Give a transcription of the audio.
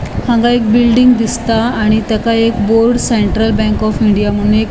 हांगा एक बिल्डिंग दिसता आणि तेका एक board central bank of India मून एक --